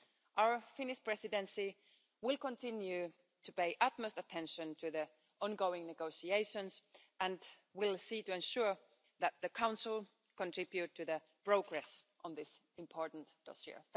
Our Finnish Presidency will continue to pay the utmost attention to the ongoing negotiations and will seek to ensure that the Council contributes to the progress on this important dossier.